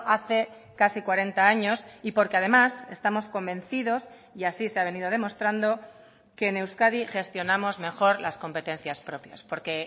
hace casi cuarenta años y porque además estamos convencidos y así se ha venido demostrando que en euskadi gestionamos mejor las competencias propias porque